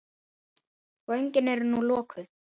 Göngin eru nú lokuð.